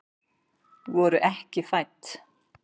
Voru ekki fædd